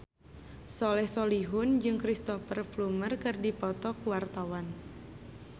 Soleh Solihun jeung Cristhoper Plumer keur dipoto ku wartawan